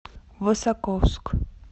высоковск